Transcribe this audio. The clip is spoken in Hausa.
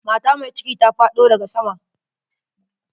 Mata mai cikin ta faɗo daga sama.